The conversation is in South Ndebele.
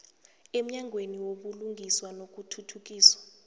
emnyangweni wobulungiswa nokuthuthukiswa